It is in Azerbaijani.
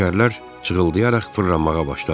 Təkərlər cığıldayaraq fırlanmağa başladı.